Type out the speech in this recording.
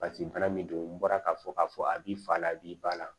Paseke bana min don n bɔra k'a fɔ k'a fɔ a b'i fa la a b'i ba la